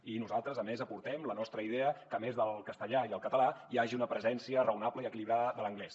i nosaltres a més aportem la nostra idea que a més del castellà i el català hi hagi una presència raonable i equilibrada de l’anglès